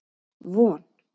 Von